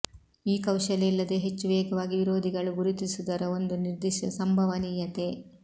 ಈ ಕೌಶಲ್ಯ ಇಲ್ಲದೆ ಹೆಚ್ಚು ವೇಗವಾಗಿ ವಿರೋಧಿಗಳು ಗುರುತಿಸುವುದರ ಒಂದು ನಿರ್ದಿಷ್ಟ ಸಂಭವನೀಯತೆ